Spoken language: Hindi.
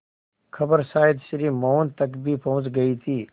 खबर शायद श्री मोहन तक भी पहुँच गई थी